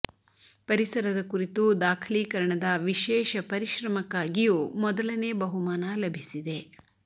ಪರಿಸರದ ಕುರಿತು ದಾಖಲೀ ಕರಣದ ವಿಶೇಷ ಪರಿಶ್ರಮಕ್ಕಾಗಿಯೂ ಮೊದಲನೇ ಬಹುಮಾನ ಲಭಿಸಿದೆ